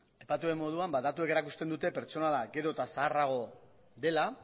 aipatu den moduan datuek erakusten dute pertsonala gero eta zaharragoa dela